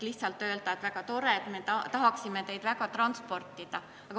Võib küll öelda, et väga tore, me tahaksime teile transporti korraldada, aga see ei käi nii lihtsalt.